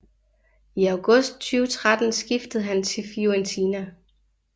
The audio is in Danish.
I august 2013 skiftede han til Fiorentina